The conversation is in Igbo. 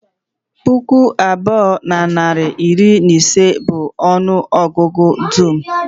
Puku abụọ na narị na iri ise bụ ọnụ ọgụgụ dum